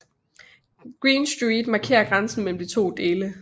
Green Street markerer grænsen mellem de to dele